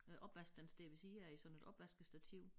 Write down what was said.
Øh opvask den står ved siden af sådan et opvaskestativ